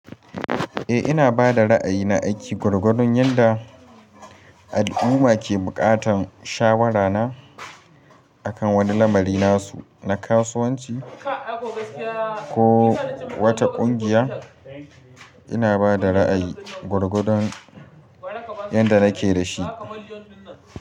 Eh ina bada ra'ayi na aiki gwargwadon yanda al'umma ke bukatan shawara na akan wani lamari nasu, na kasuwanci ko wata kungiya. Ina bada ra'ayi gwargwadon yanda nake dashi.